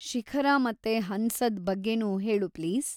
ಶಿಖರ ಮತ್ತೆ ಹಂಸದ್ ಬಗ್ಗೆನೂ ಹೇಳು ಪ್ಲೀಸ್.